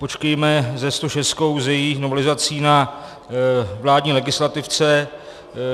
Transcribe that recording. Počkejme se 106, s její novelizací, na vládní legislativce.